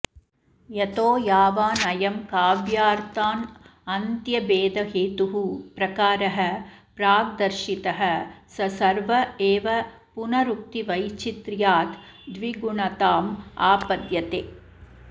यतो यावानयं काव्यार्थानन्त्यभेदहेतुः प्रकारः प्राग्दर्शितः स सर्व एव पुनरुक्तिवैचित्र्याद् द्विगुणतामापद्यते